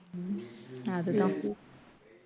ஹம் அது தான்